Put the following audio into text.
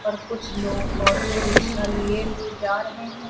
और कुछ लोग ऑटो रिक्शा लिए हुए जा रहे हैं।